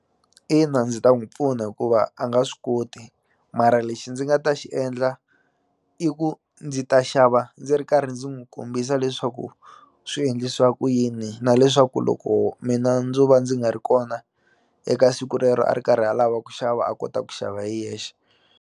Ina ndzi ta n'wi pfuna hikuva a nga swi koti mara lexi ndzi nga ta xi endla i ku ndzi ta xava ndzi ri karhi ndzi n'wi kombisa leswaku swi endlisiwa ku yini na leswaku loko mina ndzo va ndzi nga ri kona eka siku rero a ri karhi alava ku xava a kota ku xava hi yexe.